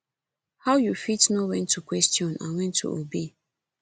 how you fit know when to question and when to obey